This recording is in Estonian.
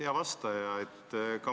Hea vastaja!